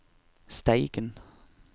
Steigen